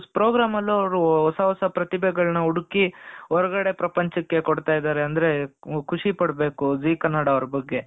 Program ಅಲ್ಲೂ ಅವರು ಹೊಸ ಹೊಸ ಪ್ರತಿಭೆಗಳನ್ನು ಹುಡುಕಿ ಹೊರಗಡೆ ಪ್ರಪಂಚಕ್ಕೆ ಕೊಡ್ತಾ ಇದ್ದಾರೆ ಅಂದ್ರೆ ಖುಷಿಪಡಬೇಕು ಜೀ ಕನ್ನಡ ಅವರ ಬಗ್ಗೆ.